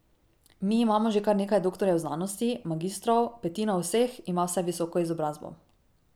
Mi imamo že kar nekaj doktorjev znanosti, magistrov, petina vseh ima vsaj visoko izobrazbo.